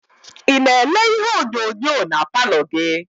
Ị na-ele ihe onyonyo na paalọ gị?